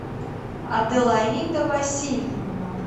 аделаида васильевна